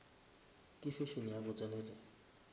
ke fashion ya go tsenelela